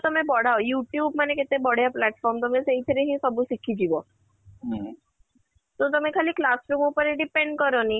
ତମେ ବଢ଼ାଅ you tube ମାନେ କେତେ ବଢିଆ platform ତମେ ସେଇ ଥିରେ ହିଁ ସବୁ ଶିଖି ଯିବ ତ ତମେ ଖାଲି classroom ଉପରେ depend କରନି